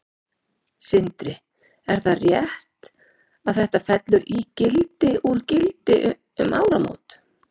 Sindri: Er það rétt að þetta fellur í gildi úr gildi um áramót?